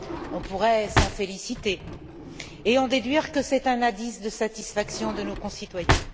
On pourrait s'en féliciter et en déduire que c'est un indice de satisfaction de nos concitoyens.